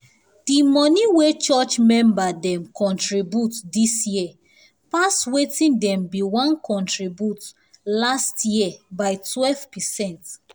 the money wey church member dem contribute this year pass wetin dem been wan contribute last year by 12%